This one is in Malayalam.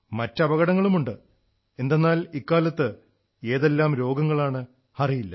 മറ്റ് അപകടങ്ങളുമുണ്ട് എന്തെന്നാൽ ഇക്കാലത്ത് ഏതെല്ലാം രോഗങ്ങളാണെ് അറിയില്ല